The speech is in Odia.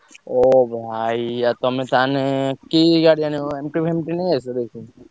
ଓ ଭାଇ! ଆଉ ତମେ ତାହେଲେ କି ଗାଡି ଆଣିବ MT ନେଇଆସିବ ଦେଖିକି।